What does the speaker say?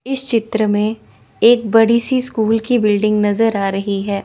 इस चित्र में एक बड़ी सी स्कूल की बिल्डिंग नजर आ रही है।